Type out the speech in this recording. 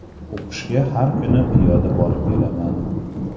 O‘qishga har kuni piyoda borib kelaman.